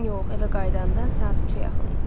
Yox, evə qayıdanda saat 3-ə yaxın idi.